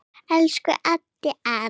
Elsku Eddi afi.